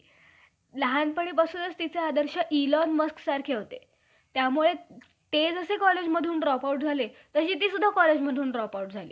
पूर्वी त्या इराण किंवा आर्यलोक म्हणत असत. असे कित्येक इंग्रजी ग्रंथकारकांनी त्यांच्यात ग्रंथावरून सिद्ध केले आहे. प्रथम त्या आर्य लोकांनी मोठमोठ्या टोळ्या,